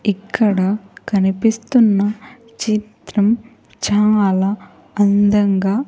ఇక్కడ కనిపిస్తున్న చిత్రం చాలా అందంగా.